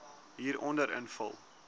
hieronder invul